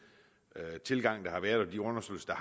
tilgang der har været og de undersøgelser